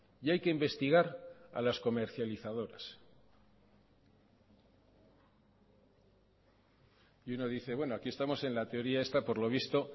y hay que investigar a las comercializadoras y uno dice bueno aquí estamos en la teoría esta por lo visto